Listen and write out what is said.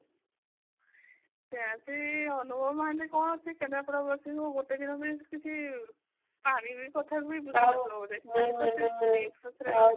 ସେଇଆ ସେ ଅନୁଭବ ମହାନ୍ତି କଣ ସେ କେନ୍ଦ୍ରପଡା ବାସୀଙ୍କୁ ଗୋଟେ ଦିନ ପାଇଁ ତ କିଛି ପାଣି ବି କଥା ବୁଝୁନଥିବ ବୋଧେ